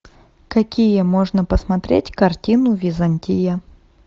какие можно посмотреть картину византия